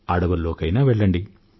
అడవుల్లోకైనా వెళ్లండి